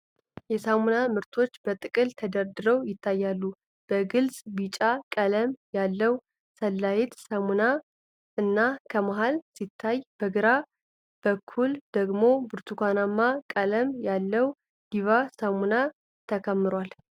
የሳሙና ምርቶች በጥቅል ተደርድረው ይታያሉ። በግልፅ ቢጫ ቀለም ያለው ሳንላይት ሳሙና ከመሃል ሲታይ፣ በግራ በኩል ደግሞ ብርቱካናማ ቀለም ያለው ዲቫ ሳሙና ተከምሯል